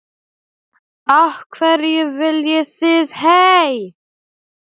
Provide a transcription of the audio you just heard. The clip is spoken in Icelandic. Af hverju viljið þið hey!